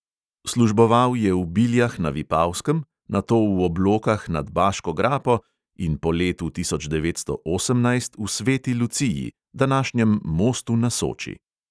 Služboval je v biljah na vipavskem, nato v oblokah nad baško grapo in po letu tisoč devetsto osemnajst v sveti luciji, današnjem mostu na soči.